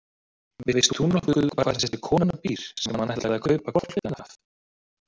Veist þú nokkuð hvar þessi kona býr sem hann ætlaði að kaupa hvolpinn af?